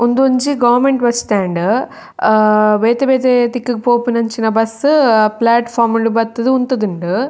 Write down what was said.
ಉಂದೊಂಜಿ government bus stand ಆ ಬೇತೆ ಬೇತೆ ದಿಕ್ಕುಗ್ ಪೋಪಿನಂಚಿನ ಬಸ್ಸ್ ಪ್ಲೇಟ್ಫೋರ್ಮ್ ಡ್ ಬತ್ತುದು ಉಂತುದುಂಡು.